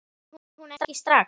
Kemur hún ekki strax?